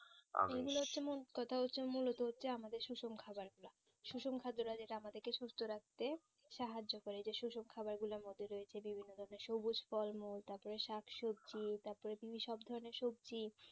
এগুলো তুমি মূলো তো আমাদের সুসং খাবার সুসান খাদ্য যেটা আমাদের কে সুস্থ রাখতে সাহায্য করে এই যে শোষক খাবার গুলো রয়েছে যেমন বিভিন্ন ধরণের সবুজ ফল মূল তার পরে শাকসবজি এত তো সব ধরণের সবজি